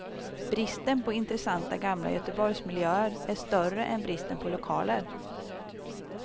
Bristen på intressanta gamla göteborgsmiljöer är större än bristen på lokaler.